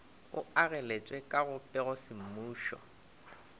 e ageletšwe ka go pegosemmušo